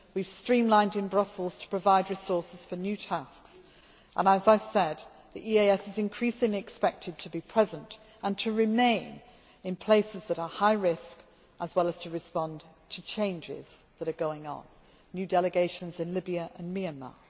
We have streamlined in Brussels to provide resources for new tasks and, as I have said, the EEAS is increasingly expected to be present and to remain in places that are high risk as well as to respond to changes that are going on new delegations in Libya and